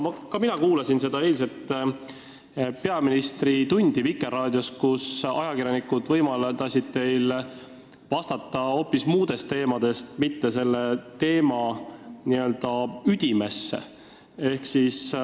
Ka mina kuulasin eilset peaministri tundi Vikerraadios, kus ajakirjanikud võimaldasid teil vastata hoopis muudel teemadel, mitte ei läinud selle teema n-ö üdimesse.